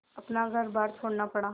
अपना घरबार छोड़ना पड़ा